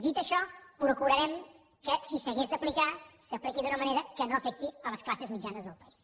dit això procurarem que si s’hagués d’aplicar s’apliqui d’una manera que no afecti les classes mitjanes del país